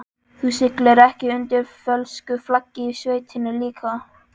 Þú siglir ekki undir fölsku flaggi í sveitinni líka?